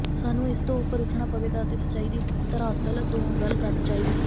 ਸਾਨੂੰ ਇਸ ਤੋਂ ਉਪਰ ਉਠਣਾ ਪਵੇਗਾ ਅਤੇ ਸੱਚਾਈ ਦੀ ਧਰਾਤਲ ਤੋਂ ਗੱਲ ਕਰਨੀ ਚਾਹੀਦੀ ਹੈ